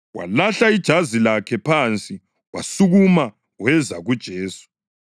Walahla ijazi lakhe phansi wasukuma weza kuJesu.